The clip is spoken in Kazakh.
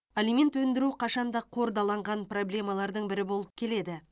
алимент өндіру қашанда қордаланған проблемалардың бірі болып келеді